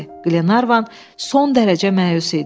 Glenarvan son dərəcə məyus idi.